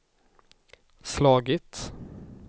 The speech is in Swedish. slagit